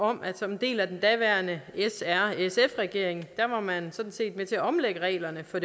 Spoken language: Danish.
om at som en del af den daværende srsf regering var man sådan set med til at omlægge reglerne for